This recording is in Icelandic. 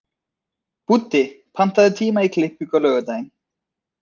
Búddi, pantaðu tíma í klippingu á laugardaginn.